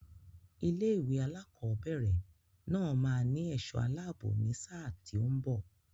Ilé-ìwé alákọ̀ọ́bẹ̀rẹ̀ náà máa ní ẹ̀ṣọ́ aláàbò ní sáà tí ó ń bọ̀.